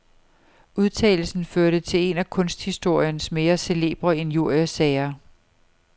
Udtalelsen førte til en af kunsthistoriens mere celebre injuriesager.